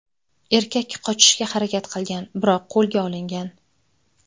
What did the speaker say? Erkak qochishga harakat qilgan, biroq qo‘lga olingan.